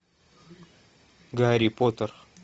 гарри поттер